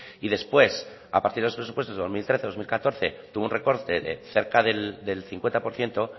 y después a partir de los presupuestos de dos mil trece dos mil catorce tuvo un recorte del cerca del cincuenta por ciento